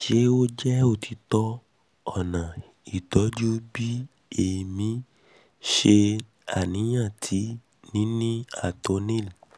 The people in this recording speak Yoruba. ṣe o jẹ otitọ ọna ti itọju bi emi ṣe aniyan ti nini ato nil